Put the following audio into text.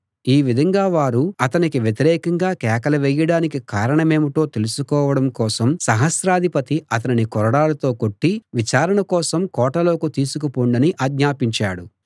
ఈ విధంగా వారు అతనికి వ్యతిరేకంగా కేకలు వేయడానికి కారణమేమిటో తెలుసుకోవడం కోసం సహస్రాధిపతి అతనిని కొరడాలతో కొట్టి విచారణ కోసం కోటలోకి తీసుకుని పొండని ఆజ్ఞాపించాడు